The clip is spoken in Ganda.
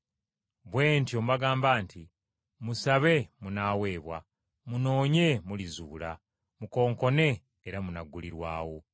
“Bwe ntyo mbagamba nti, musabe munaaweebwa, munoonye mulizuula, mukonkone era munaggulirwawo.